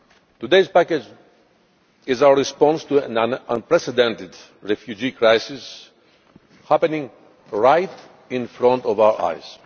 Today's package is our response to an unprecedented refugee crisis happening right in front of our eyes.